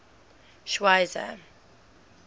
schweizer